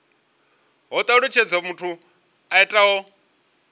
ho talutshedzwa muthu o itaho